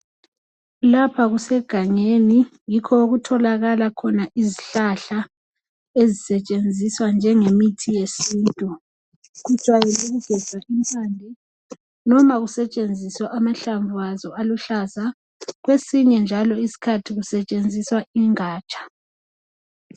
Lapha kusegangeni yikho okutholakala khona izihlahla ezisetshenziswa njengo muthi wesintu kujwayele ukugejwa impande noma amahlamvu akhona aluhlaza kwesinye njalo isikhathi kusetshenziswa ingaja.